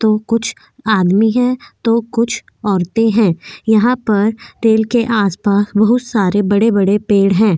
तो कुछ आदमी है तो कुछ औरते है यहाँ पर रेल के आस पास बहुत सारे बड़े बड़े पेड़ है।